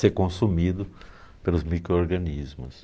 ser consumido pelos micro-organismos.